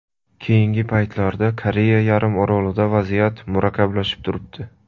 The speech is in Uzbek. Keyingi paytlarda Koreya yarimorolida vaziyat murakkablashib turibdi.